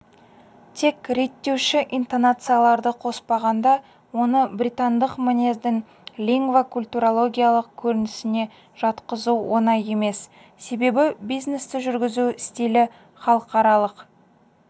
тек реттеуші интонацияларды қоспағанда оны британдық мінездің лингвокультурологиялық көрінісіне жатқызу оңай емес себебі бизнесті жүргізу стилі халықаралық